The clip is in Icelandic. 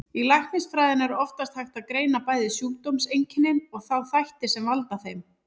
Í læknisfræðinni er oftast hægt að greina bæði sjúkdómseinkennin og þá þætti sem valda þeim.